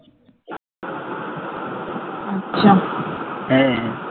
হ্যাঁ